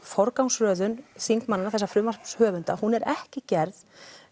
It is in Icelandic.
forgangsröðun þingmanna þessa frumvarpshöfunda hún er ekki gerð